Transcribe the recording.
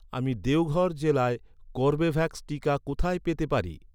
আমি দেওঘর জেলায় কর্বেভ্যাক্স টিকা কোথায় পেতে পারি?